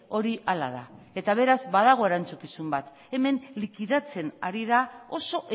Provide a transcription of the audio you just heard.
hori hala da eta beraz badago erantzukizun bat hemen likidatzen ari da oso